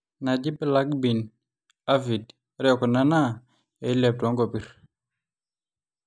inaaji black bean aphid; ore kuna naa eilep toonkopir